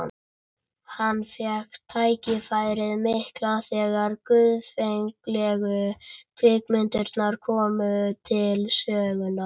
Hann fékk tækifærið mikla þegar guðfræðilegu kvikmyndirnar komu til sögunnar.